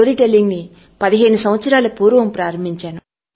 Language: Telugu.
స్టోరీ టెల్లింగ్ ను 15 సంవత్సరాలకు పూర్వం ప్రారంభించాను